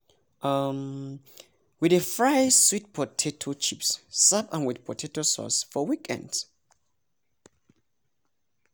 um we dey fry sweet potato chips serve am with tomato sauce for weekends